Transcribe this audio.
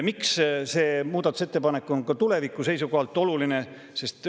Miks see muudatusettepanek on ka tuleviku seisukohalt oluline?